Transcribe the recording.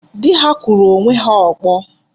Dị ha kụrụ onwe ha ọkpọ.